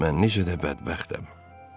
"Mən necə də bədbəxtəm!"